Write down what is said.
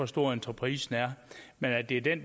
stor entreprisen er men at det er den